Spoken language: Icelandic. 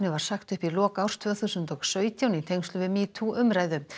var sagt upp í lok árs tvö þúsund og sautján í tengslum við metoo umræðu